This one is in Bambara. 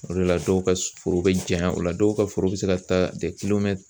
O de la dɔw ka foro bɛ janya o la dɔw ka foro bɛ se ka taa